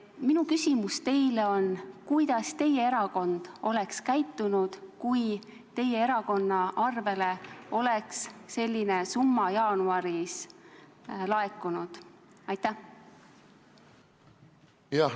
Minu küsimus teile on: kuidas teie erakond oleks käitunud, kui teie erakonna arvele oleks selline summa jaanuaris laekunud?